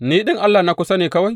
Ni ɗin Allah na kusa ne kawai,